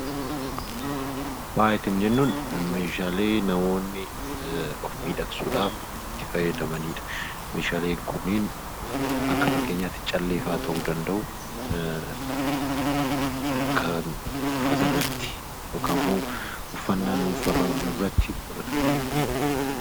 Faaya kan jennuun meeshaalee kan namoonni of miidhagsuudhaaf itti fayyadamanidha. Meeshaaleen kunneeni Akka fakkeenyaatti callee fa'aa ta'uu danda'u kan uffatarratti godhatami